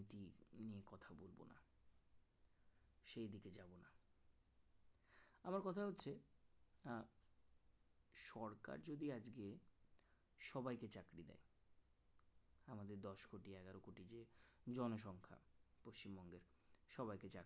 আবার কথা হচ্ছে সরকার যদি আজকে সবাইকে চাকরি দেয় আমাদের দশকোটি এগারোকোটি যে জনসংখ্যা পশ্চিমবঙ্গের সবাইকে চাকরি